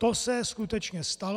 To se skutečně stalo.